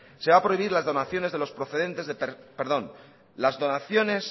se va a prohibir las donaciones